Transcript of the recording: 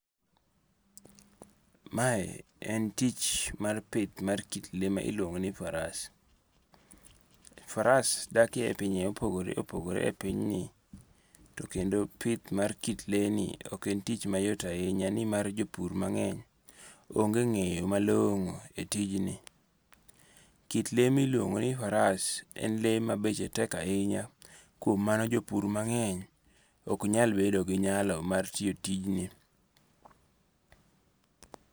Mae en tich mar pith mar kit le ma iluongo' ni faras, faras dakie e pinje ma opogore opogore e pinyni, to kendo pith mar kit le ni ok en tich mayot ahinya ni mar jo pur mange'ny onge' nge'yo malongo' e tijni. Kit le ma iluongo' ni faras en le ma beche tek ahinya, kuom mano jo pur mangeny oknyal bedo gi nyalo mar tiyo tijni.